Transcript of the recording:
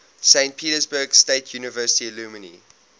saint petersburg state university alumni